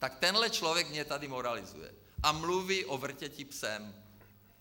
Tak tenhle člověk mě tady moralizuje a mluví o vrtěti psem.